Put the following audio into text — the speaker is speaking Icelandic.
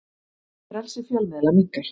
Frelsi fjölmiðla minnkar